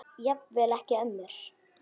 Jafnvel ekki ömmur.